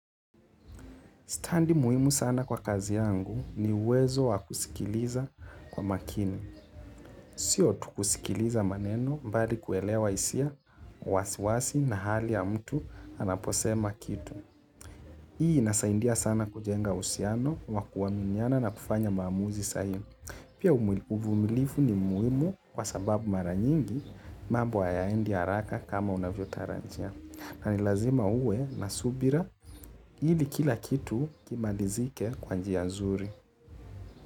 Standi muhimu sana kwa kazi yangu ni uwezo wa kusikiliza kwa makini. Sio tu kusikiliza maneno bali kuelewa hisia wasiwasi na hali ya mtu anaposema kitu. Hii inasaidia sana kujenga uhusiano wa kuaminiana na kufanya maamuzi sahihi. Pia uvumilivu ni muhimu kwa sababu mara nyingi mambo hayaendi haraka kama unavyotarajia. Na ni lazima uwe na subira ili kila kitu kimalizike kwa njia nzuri.